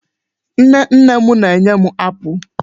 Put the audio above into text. Nne nne m na-enye m apụl.